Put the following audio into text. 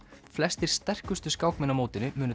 flestir sterkustu skákmenn á mótinu munu